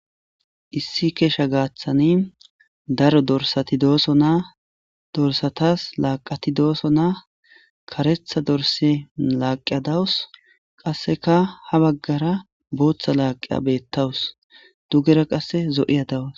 Issi keesha gaaththani daro dorsati dooso naa dorsatas laaqati dooso naa karetha dorse laaqia dawus qasseka ha baggara booththa laaqiya bettawus dugera qasse zo'iya dawus.